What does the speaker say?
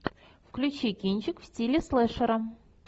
включи кинчик в стиле слэшера